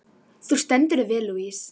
Þú stendur þig vel, Louise!